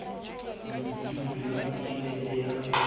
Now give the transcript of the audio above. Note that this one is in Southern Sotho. mekutung ya kontinente ya ho